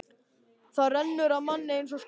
Það rennur af manni eins og skot.